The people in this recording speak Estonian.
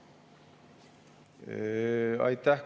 Aitäh!